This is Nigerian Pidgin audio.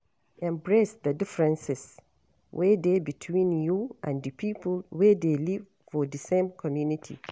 Embrace the differences wey dey between you and di pipo wey dey live for di same community